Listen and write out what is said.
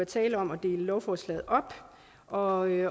tale om at dele lovforslaget op og i